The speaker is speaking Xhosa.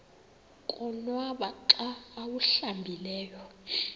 konwaba xa awuhlambileyo